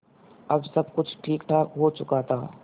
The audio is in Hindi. अब सब कुछ ठीकठाक हो चुका था